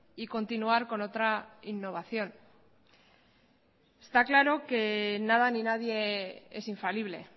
y continuar con otra innovación está claro que nada ni nadie es infalible